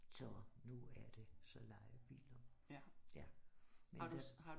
Så nu er det så lejebiler men